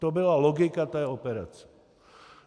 To byla logika té operace.